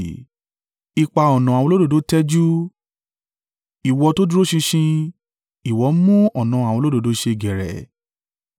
Ipa ọ̀nà àwọn olódodo tẹ́jú, ìwọ tó dúró ṣinṣin, ìwọ mú ọ̀nà àwọn olódodo ṣe geere.